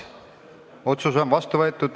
Otsus on vastu võetud.